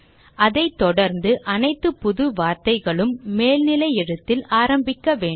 அதை தொடர்ந்து அனைத்து புது வார்த்தைகளும் மேல்நிலை எழுத்தில் ஆரம்பிக்க வேண்டும்